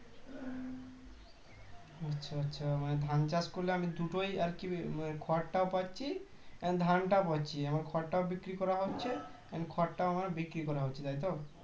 আচ্ছা আচ্ছা মানে ধান চাষ করলে আমি দুটোই আর কি মানে খড়টাও পাচ্ছি ধানটাও পাচ্ছি আমার খড়টাও বিক্রি করা হচ্ছে এবং খড়টাও আমার বিক্রি করা হচ্ছে তাই তো